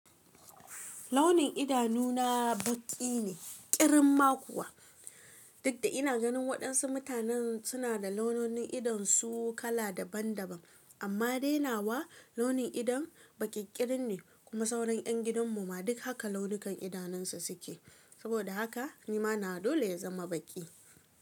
Launin idanuna baƙi ne, ƙirin ma kuwa. Duk da ina ganin waɗansu mutanen suna da laununin idonsu kala daban daban, amma dai nawa launin idon baƙiƙirin ne kuma sauran ‘yan gidan mu ma duk haka launukan idanunsu suke, saboda haka ni ma nawa dole ya zama baƙi.